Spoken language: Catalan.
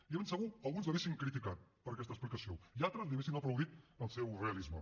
i de ben segur alguns l’haurien criticat per aquesta explicació i altres li haurien aplaudit el seu realisme